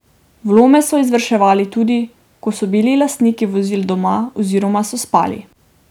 Vlome so izvrševali tudi, ko so bili lastniki vozil doma oziroma so spali.